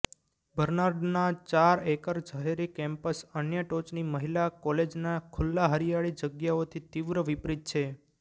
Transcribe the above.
બર્નાર્ડના ચાર એકર શહેરી કેમ્પસ અન્ય ટોચની મહિલા કોલેજોના ખુલ્લા હરિયાળી જગ્યાઓથી તીવ્ર વિપરીત છે